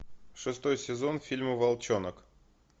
шестой сезон фильма волчонок